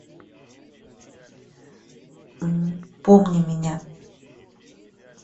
помни меня